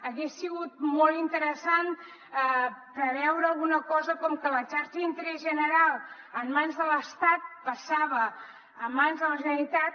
hagués sigut molt interessant preveure alguna cosa com que la xarxa d’interès general en mans de l’estat passava a mans de la generalitat